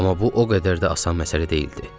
Amma bu o qədər də asan məsələ deyildi.